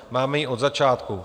Máme ji od začátku.